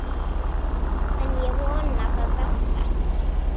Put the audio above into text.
En ég vona það besta.